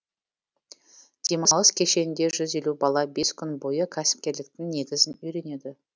демалыс кешенінде жүз елу бала бес күн бойы кәсіпкерліктің негізін үйренеді